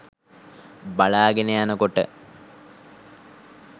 බලාගෙන යනකොට